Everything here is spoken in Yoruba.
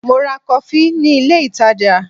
Mo ra kọfí ni ilé ìtajà.